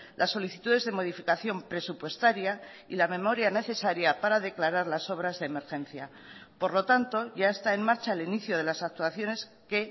las solicitudes de modificación presupuestaria y la memoria necesaria para declarar las obras de emergencia por lo tanto ya está en marcha el inicio de las actuaciones que